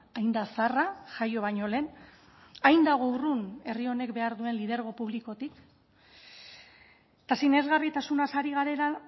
hain da zaharra jaio baino lehen hain dago urrun herri honek behar duen lidergo publikotik eta sinesgarritasunaz ari garela